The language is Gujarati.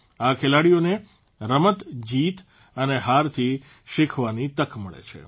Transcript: આ ખેલાડીઓને રમત જીત અને હારથી શીખવાની તક મળે છે